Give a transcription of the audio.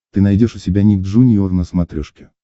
ты найдешь у себя ник джуниор на смотрешке